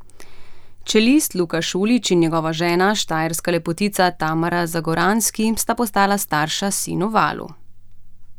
Čelist Luka Šulić in njegova žena, štajerska lepotica Tamara Zagoranski, sta postala starša sinu Valu.